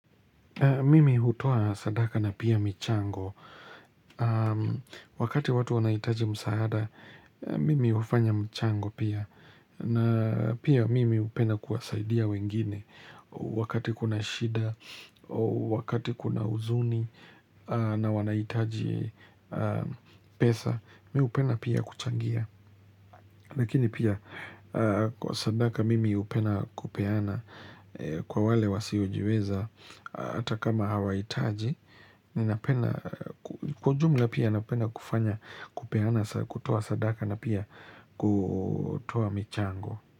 Mimi hutoa sadaka na pia michango, wakati watu wanahitaji msaada, mimi hufanya mchango pia, na pia mimi hupenda kuwasaidia wengine, wakati kuna shida, wakati kuna huzuni, na wanahitaji pesa, mimi hupenda pia kuchangia. Lakini pia kwa sadaka mimi hupenda kupeana kwa wale wasiojiweza hata kama hawahitaji. Kwa jumla pia napenda kufanya kupeana kutoa sadaka na pia kutoa michango.